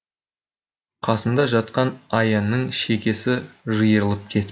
қасымда жатқан аянның шекесі жиырылып кетіпті